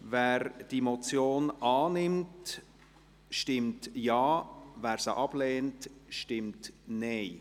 Wer diese Motion annimmt, stimmt Ja, wer diese ablehnt, stimmt Nein.